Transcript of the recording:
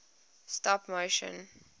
stop motion